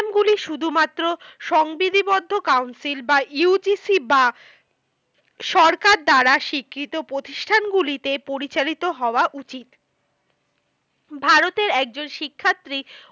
গুলি শুধুমাত্র সংবিধিবদ্ধ council বা UGC বা সরকার দ্বারা স্বীকৃত প্রতিষ্ঠানগুলিতে পরিচালিত হওয়া উচিত। ভারতের একজন শিক্ষার্থী